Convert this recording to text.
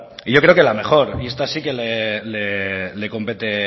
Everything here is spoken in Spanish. y yo creo que la mejor y esta sí que le compete